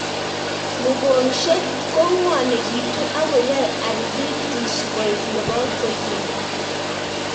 Mung'ong'shek ko ng'wanekitu akoyae arthrithis koek nepo koikeny